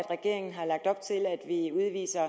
regeringen har lagt op til at vi udviser